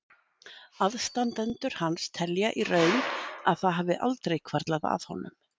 Aðstandendur hans telja í raun að það hafi aldrei hvarflað að honum.